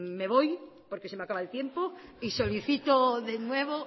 me voy porque se me acaba el tiempo y solicito de nuevo